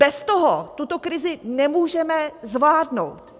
Bez toho tuto krizi nemůžeme zvládnout.